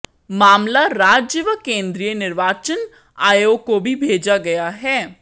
मामला राज्य व केंद्रीय निर्वाचन आयोग को भी भेजा गया है